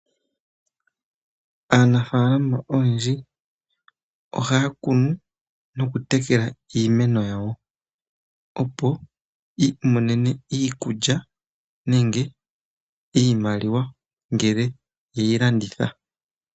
Aanafalama oyendji ohaya kunu nokutekela iimeno yawo, opo ya imonene iikulya nenge iimaliwa ngele ye yi landitha.